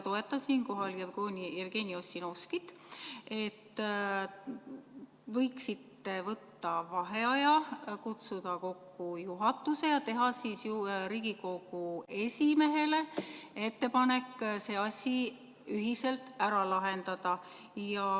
Toetan siinkohal Jevgeni Ossinovskit, et te võiksite võtta vaheaja, kutsuda kokku juhatuse ja teha Riigikogu esimehele ettepanek see asi ühiselt ära lahendada.